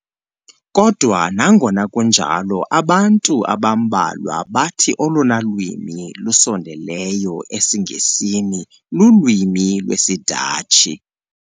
Kodwa nangona kunjalo, abantu abambalwa bathi olona lwimi lusondeleyo esiNgesini lulwimi lwesiDatshi.